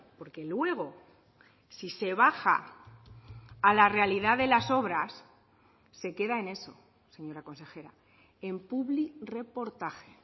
porque luego si se baja a la realidad de las obras se queda en eso señora consejera en publirreportaje